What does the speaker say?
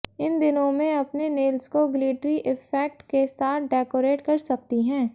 इन दिनों में अपने नेल्स को ग्लिटरी इफैक्ट के साथ डेकोरेट कर सकती हैं